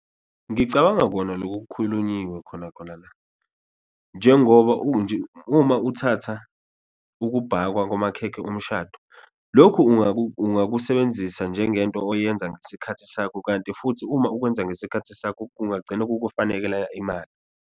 Ngicabanga kona loku kukhulunyiwe khona khona la njengoba uma uthatha ukubhakwa kwamakhekhe omshado, lokhu ungakusebenzisa njengento oyenza ngesikhathi sakho, kanti futhi uma ukwenza ngesikhathi sakho kungagcina kukufanekela imali.